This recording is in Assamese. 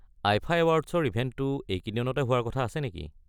আইফা এৱাৰ্ডছৰ ইভেণ্টটো এইকেইদিনতে হোৱাৰ কথা আছে নেকি?